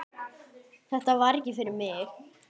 Þetta var ekki fyrir mig